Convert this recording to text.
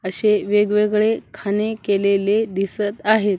अशे वेगवेगळे खाणे केलेले दिसत आहेत.